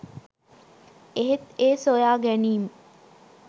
එහෙත් ඒ සොයා ගැනීම්